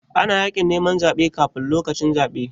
Ana yin yaƙin neman zaɓe kafun lokacin zaɓe.